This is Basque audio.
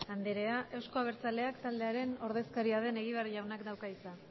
anderea eusko abertzaleak taldearen ordezkaria den egibar jaunak dauka hitza